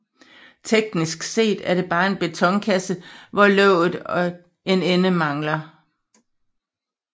Teknisk set er det bare en betonkasse hvor låget og en ende mangler